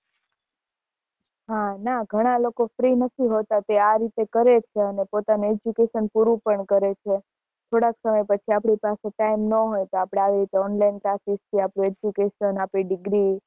હ ના ઘણા લોકો free નથી હોતા તે આ રીતે કરે છે અને પોતાનું education પૂરું પણ કરે છે થોડા સમય પછી આપડી પાસે time ના હોય તો આપડે આવી રીતે online classes યા education આપડી degree